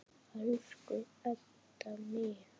Elsku Edda mín.